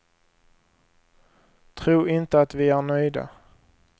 Tro inte att vi är nöjda.